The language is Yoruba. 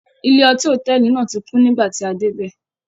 Ilé-ọtí hòtẹ́ẹ́lì náà tí kún nígbà tí a dé bẹ́ẹ̀.